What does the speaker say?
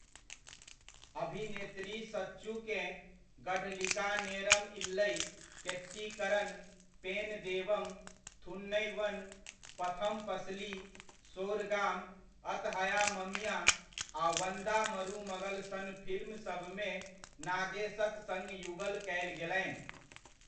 अभिनेत्री सचूकेँ 'गढ़लिका नेरम इल्लई', 'केट्टीकरण', 'पेन देवम', 'थुनैवन', 'पथम पसली', 'सोरगाम', 'अतहया ममिया' आ 'वंदा मरूमगल' सन फिल्म सबमे नागेशक सङ्ग युगल कयल गेलनि।